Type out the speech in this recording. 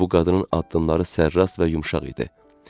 Bu qadının addımları sərrast və yumşaq idi.